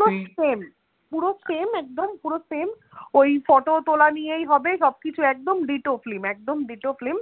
পুরো same পুরো same ওই photo তোলা নিয়েই হবে সব কিছু একদম ditto film একদম ditto film